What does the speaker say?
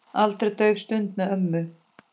Aldrei dauf stund með ömmu.